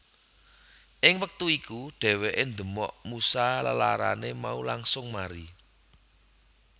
Ing wektu iku dheweké ndemok Musa lelarané mau langsung mari